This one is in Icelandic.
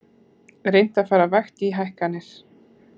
Reynt að fara vægt í hækkanir